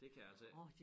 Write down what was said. Det kan jeg altså ikke